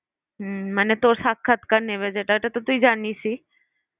মানে তোর সাক্ষাৎকার নেবে যেটা ওটা তো তুই জানিসই।